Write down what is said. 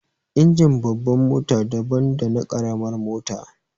Injin babbar mota daban dana ƙaramar mota